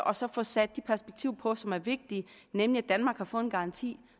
og så få sat det perspektiv på som er vigtigt nemlig at danmark har fået en garanti